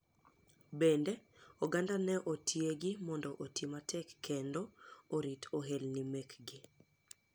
Bende oganda ne otiegi mondo oti matek kend orit ohelni mek gi.